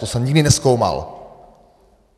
To jsem nikdy nezkoumal.